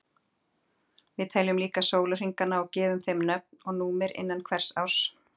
við teljum líka sólarhringana og gefum þeim nöfn og númer innan hvers árs